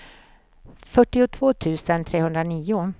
fyrtiotvå tusen trehundranio